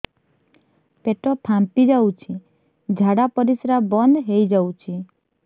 ପେଟ ଫାମ୍ପି ଯାଉଛି ଝାଡା ପରିଶ୍ରା ବନ୍ଦ ହେଇ ଯାଉଛି